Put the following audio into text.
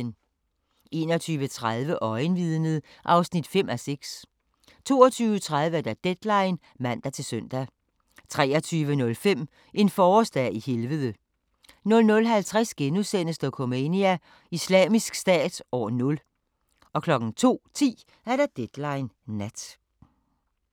21:30: Øjenvidnet (5:6) 22:30: Deadline (man-søn) 23:05: En forårsdag i Helvede 00:50: Dokumania: Islamisk Stat – år 0 * 02:10: Deadline Nat